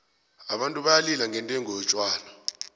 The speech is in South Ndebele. abantu bayalila ngendengo yotjhwala